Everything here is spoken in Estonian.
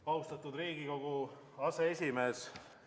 Austatud Riigikogu aseesimees!